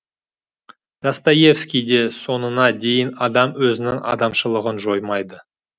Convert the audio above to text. достоевскийде соңына дейін адам өзінің адамшылығын жоймайды